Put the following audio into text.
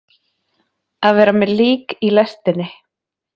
Að vera með lík í lestinni